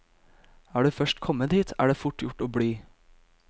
Er du først kommet hit, er det fort gjort å bli.